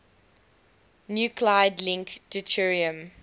nuclide link deuterium